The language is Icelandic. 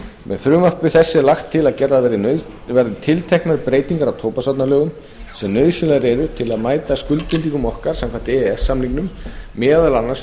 með frumvarpi þessu er lagt til að gerðar verði til teknar breytingar á tóbaksvarnalögum sem nauðsynlegar eru taldar til að mæta skuldbindingum okkar samkvæmt e e s samningnum meðal annars um